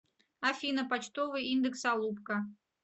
афина почтовый индекс алупка